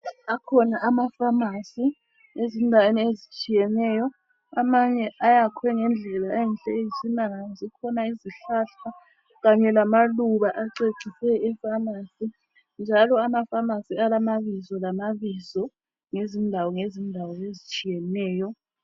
Akhona amaFamasi ezindaweni ezitshiyeneyo, amanye ayakhwe ngendlela enhle eyisimanga, zikhona izihlahla kanye lamaluba acecise eFamasi. Njalo amaFamasi alamabizo lamabizo ngezindawo ngezindawo ezitshiyeneyo.